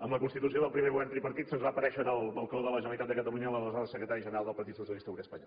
en la constitució del primer govern tripartit se’ns va aparèixer en el balcó de la generalitat de catalunya l’aleshores secretari general del partit socialista obrer espanyol